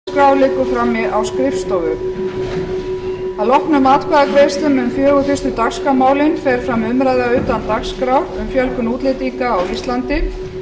að loknum atkvæðagreiðslum um fjögur fyrstu dagskrármálin fer fram umræða utan dagskrár um fjölgun útlendinga á íslandi